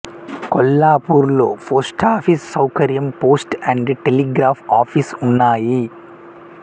కొల్లాపూర్లో post office సౌకర్యం post and telegraph office ఉన్నాయి